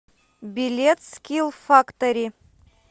билет скиллфактори